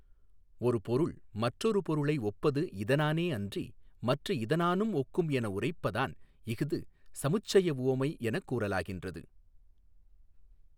ஒரு பொருள் மற்றொரு பொருளை ஒப்பது இதனானே அன்றி மற்று இதனானும் ஒக்கும் என உரைப்பதான் இஃது சமுச்சயவுவமை எனக் கூறலாகின்றது.